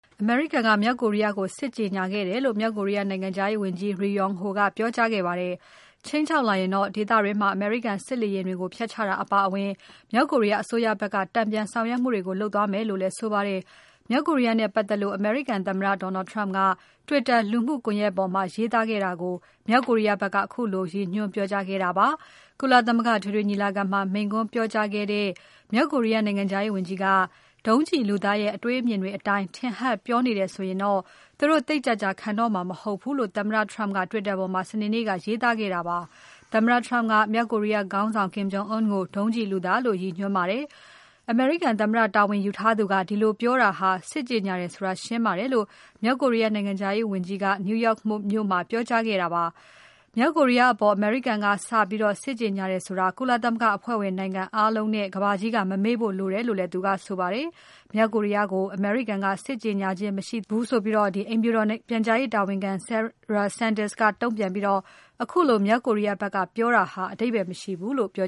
အမေရိကန်က မြောက်ကိုရီးယားကို စစ်ကြောညာခဲ့တယ်လို့ မြောက်ကိုရီးယားနိုင်ငံခြားရေးဝန်ကြီး Ri Yong Ho ကပြောကြားခဲ့ပါတယ်။ ခြိမ်းခြောက်လာရင်တော့ ဒေသတွင်းက အမေရိကန်စစ်လေယာဉ်တွေကို ဖျက်ချတာအပါအဝင် မြောက်ကိုရီးယားအစိုးရဖက်က တန်ပြန်ဆောင်ရွက်မှုတွေလုပ်သွားမယ်လို့လည်း ဆိုပါတယ်။ မြောက်ကိုရီးယားနဲ့ပတ်သက်လို့ အမေရိကန်သမ္မတ Donald Trump က Twitter လူမှုကွန်ယက်ပေါ်မှာ ရေးသားခဲ့တာကို မြောက်ကိုရီးယားဖက်က ခုလိုရည်ညွှန်းပြောကြားခဲ့တာဖြစ်ပါတယ်။ ကုလသမဂ္ဂအထွေထွေညီလာခံမှာ မိန့်ခွန်းပြောကြားခဲ့တဲ့ မြောက်ကိုရီးယား နိုင်ငံခြားရေးဝန်ကြီးက ဒုံးကျည်လူသားရဲ့ အတွေးအမြင်တွေအတိုင်း တင်ဟပ်ပြောတယ်ဆိုရင်တော့ သူတို့သိပ်ကြာကြာခံတော့မှာ မဟုတ်ဘူးလို့ သမ္မတ Trump က Twitter မှာ စနေနေ့က ရေးသားခဲ့တာဖြစ်ပါတယ်။ အမေရိကန်သမ္မတတာဝန်ယူထားသူက ဒီလိုပြောတာဟာ စစ်ကြေညာတယ်ဆိုတာ ရှင်းပါတယ်လို့ မြောက်ကိုရီးယားနိုင်ငံခြားရေးဝန်ကြီးက New York မြို့မှာ ပြောကြားခဲ့တာဖြစ်ပါတယ်။ မြောက်ကိုရီးယားအပေါ် အမေရိကန်ကစပြီး စစ်ကြေညာတယ်ဆိုတာ ကုလသမဂ္ဂအဖွဲ့ဝင်နိုင်ငံအားလုံးနဲ့ ကမ္ဘာကြီးက မမေ့ဖို့လိုတယ်လို့လည်းဆိုခဲ့ပါတယ်။ မြောက်ကိုရီးယားကို အမေရိကန်က စစ်ကြေညာ ချင်းမရှိဘူးလို့ အိမ်ဖြူတော်ပြန်ကြားရေးတာဝန်ခံ Sarah Sanders ကတုံ့ပြန်ပြီး ခုလိုမြောက်ကိုရီးယားဖက်က ပြောတာဟာ အဓိပ္ပါယ်မရှိဘူးလို့ ပြော